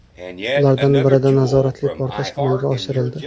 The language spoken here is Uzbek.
Ulardan birida nazoratli portlash amalga oshirildi.